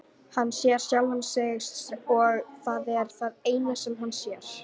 Hann sér sjálfan sig og það er það eina sem hann sér.